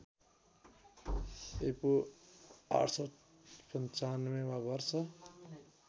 ईपू ८९५ वा वर्ष